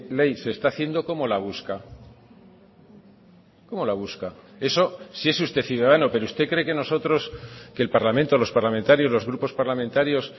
ley se está haciendo cómo la busca cómo la busca eso si es usted ciudadano pero usted cree que nosotros que el parlamento los parlamentarios los grupos parlamentarios